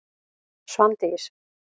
Svandís